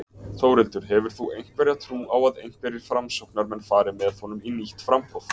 Þórhildur: Hefur þú einhverja trú á að einhverjir Framsóknarmenn fari með honum í nýtt framboð?